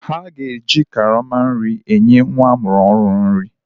A ga-eji karama nri nye nwa amụrụ ọhụrụ nri.